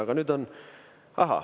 Aga nüüd on ...